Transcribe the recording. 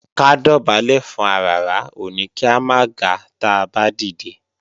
Ká dọ̀bálẹ̀ fún aràrá ò ní kí a máa ga táa bá dìde